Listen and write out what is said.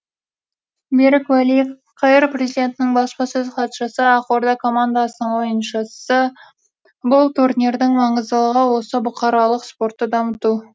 берік уәли қр президентінің баспасөз хатшысы ақорда командасының ойыншысы бұл турнирдің маңыздылығы осы бұқаралық спортты дамыту